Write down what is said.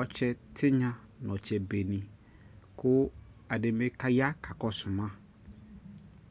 ɔtsɛ tinya nu ɔtsɛ be niKu ɛdi bi ka ya ka kɔsu ma